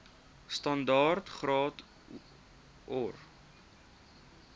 standaard graad or